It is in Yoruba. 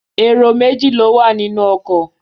Èrò méjì ló wà ní inú ọkọ̀.